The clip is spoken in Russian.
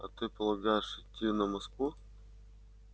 а ты полагаешь идти на москву